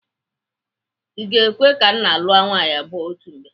I ga-ekwe ka nna lụọ nwaanyị abụọ otu mgbe?